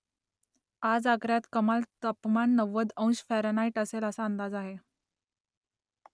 आज आग्र्यात कमाल तापमान नव्वद अंश फॅरनहाईट असेल असा अंदाज आहे